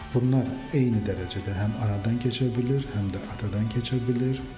Bunlar eyni dərəcədə həm anadan keçə bilir, həm də atadan keçə bilir.